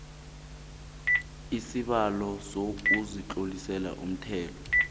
isibawo sokuzitlolisela umthelo